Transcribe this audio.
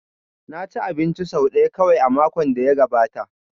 Na ci abinci sau ɗaya kawai a makon da ya gabata